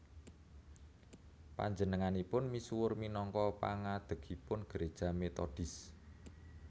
Panjenenganipun misuwur minangka pangadhegipun Gereja Metodis